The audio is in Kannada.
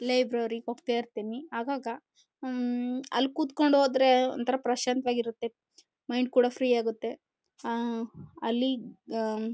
ಲೈಬ್ರರಿಗೆ ಹೋಗ್ತಾ ಇರ್ತಿನಿ ಆಗಾಗ ಹ್ಮ್ಮ್ ಹ್ಮ್ಮ್ ಅಲ್ಲಿ ಕೂತುಕೊಂಡು ಓದ್ರೆ ಪ್ರಶಾಂತವಾಗಿರುತ್ತೆ ಮೈಂಡ್ ಕೂಡ ಫ್ರೀ ಆಗುತ್ತೆ ಅಹ್ ಅಹ್ ಅಹ್ ಅಲ್ಲಿ ಅಹ್ ಅಹ್--